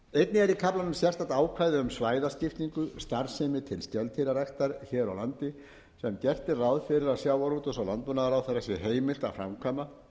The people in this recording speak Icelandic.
í kaflanum sérstakt ákvæði um svæðaskiptingu starfsemi til skeldýraræktar hér á landi sem gert er ráð fyrir að sjávarútvegs og landbúnaðarráðherra sé heimilt að framkvæma